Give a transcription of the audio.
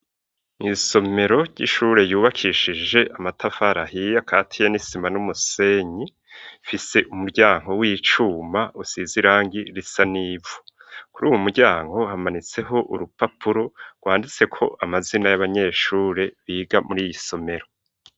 Isomero ry'ishure ryubakishije amatafari ahiy, akatiye n'isima n'umusenyi, rifise umuryango w'icuma usize irangi risa n'ivu, kuri uwu muryango hamanitseho urupapuro rwanditse ko amazina y'abanyeshure biga muri iyi somero.